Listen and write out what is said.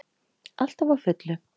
Alltaf á fullu.